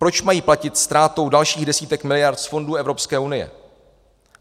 Proč mají platit ztrátou dalších desítek miliard z fondů Evropské unie?